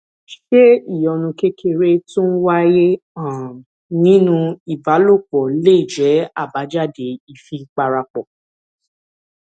ṣé ìyọnu kékeré tó ń wáyé um nínú ìbálòpò lè jé àbájáde ìfipárapò